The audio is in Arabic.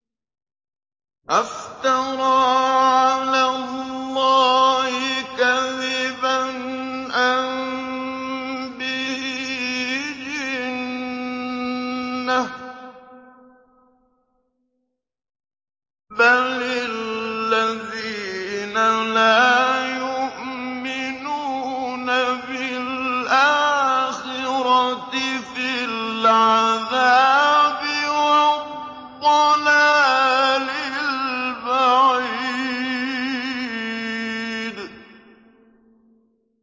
أَفْتَرَىٰ عَلَى اللَّهِ كَذِبًا أَم بِهِ جِنَّةٌ ۗ بَلِ الَّذِينَ لَا يُؤْمِنُونَ بِالْآخِرَةِ فِي الْعَذَابِ وَالضَّلَالِ الْبَعِيدِ